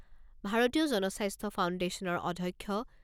ভাৰতীয় জনস্বাস্থ্য ফাউণ্ডেশ্যনৰ অধ্যক্ষ